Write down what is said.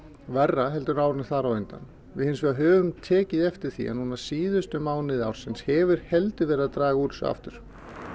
verra heldur en árinu þar á undan við hins vegar höfum tekið eftir því að núna síðustu mánuði hefur heldur verið að draga úr þessu aftur